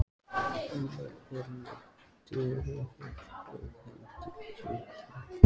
Annar er með derhúfu og hendur djúpt í vösum.